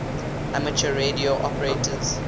amateur radio operators